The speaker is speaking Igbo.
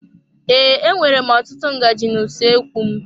Ee, e nwèrè m ọtụtụ ngaji na usoekwu m.